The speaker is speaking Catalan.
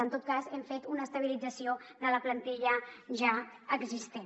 en tot cas hem fet una estabilització de la plantilla ja existent